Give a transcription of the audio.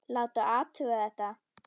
Láta athuga þetta.